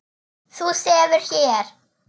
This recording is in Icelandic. Þú sefur hér.